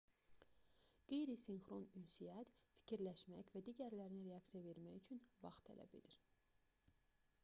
qeyri-sinxron ünsiyyət fikirləşmək və digərlərinə reaksiya vermək üçün vaxt tələb edir